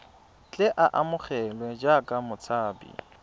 tle a amogelwe jaaka motshabi